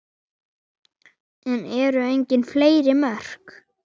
En eru engin efri mörk?